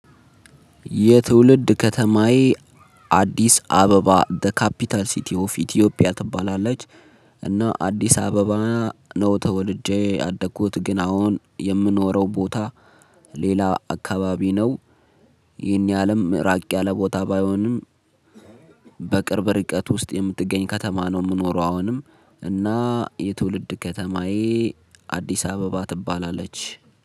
የትውልድ ከተማዬ አዲስ አበባ ዘ ካፒታል ሲቲ ኦፍ ኢትዮጵያ ትባላለች። እና አዲስ አበባ ነው ተወልጄ ያደኩት ግን አሁን የምኖረው ቦታ ሌላ አካባቢ ነው። ይህን ያሀልም ራቅ ያለ ቦታ ባይሆንም። በቅርብ ርቀት ውስጥ የምትገኝ ከተማ ነው የምኖረው። አሁንም እና የትውልድ ከተማዬ አዲስ አበባ ትባላለች